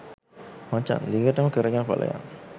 මචං දිගටම කරගෙන පලයන්